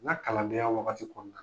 N ka kalandenya wagati kɔnɔ